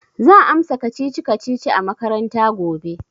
Zan amsa kacici-kacici a makaranta gobe.